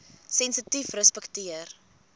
sensitiefrespekteer